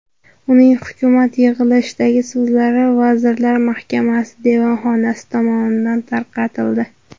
Uning hukumat yig‘ilishidagi so‘zlari vazirlar mahkamasi devonxonasi tomonidan tarqatildi.